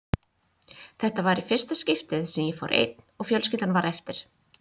Þetta var í fyrsta skiptið sem ég fór einn og fjölskyldan var eftir.